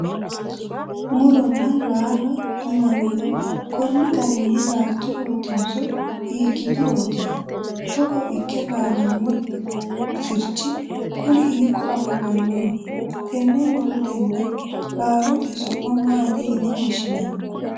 muronna laalo yinannihu konni garinni laalturootinso hiikkiturooti? togo ikke laalanno sirchi kuni hiikko afamannoho? tenne murotenna laalote su'ma maati yine wohshinanni?